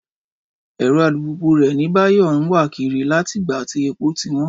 Ẹ̀rọ alùpùpù rẹ̀ ni Báyọ̀ ń wà kiri láti ìgbà tí epo ti wọ́n